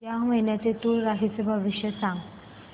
या महिन्याचं तूळ राशीचं भविष्य सांग